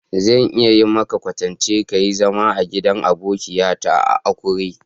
Zan iya yi maka kwatanci ka yi zama a'gidan abokiya ta a'Akure.